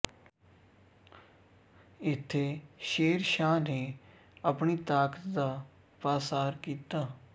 ਇੱਥੇ ਸ਼ੇਰ ਸ਼ਾਹ ਨੇ ਆਪਣੀ ਤਾਕਤ ਦਾ ਪਾਸਾਰ ਕੀਤਾ